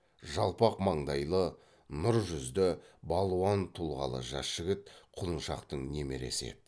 жалпақ маңдайлы нұр жүзді балуан тұлғалы жас жігіт құлыншақтың немересі еді